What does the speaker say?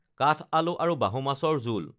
কাঠ আলু আৰু বাহু মাছৰ জোল